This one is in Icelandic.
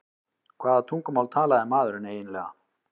Hvaða tungumál talaði maðurinn eiginlega?